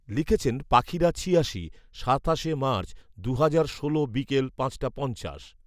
লিখেছেন পাখিরা ছিয়াশি, সাতাশে মার্চ, দুহাজার ষোল বিকেল পাঁচটা পঞ্চাশ